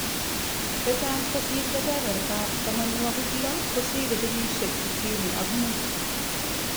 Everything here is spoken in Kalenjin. chechang kosir kebeberta ab tamanwoki 6 kosire kenyishek sitini ak muut